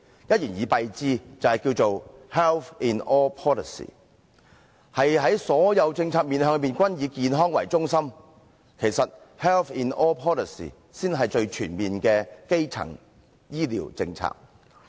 一言以蔽之，便是 health in all policies， 所有政策均面向以健康為中心，其實 health in all policies 才是最全面的基層醫療政策。